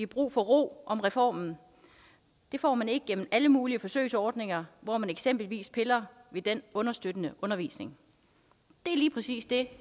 brug for ro om reformen det får man ikke gennem alle mulige forsøgsordninger hvor man eksempelvis piller ved den understøttende undervisning det er lige præcis det